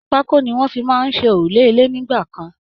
pákó ni wọ́n fi máa ń ṣe òrúlé ilé nígbà kan